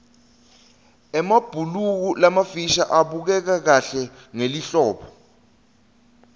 emabhuluko lamafisha abukeka kahle ngelihlobo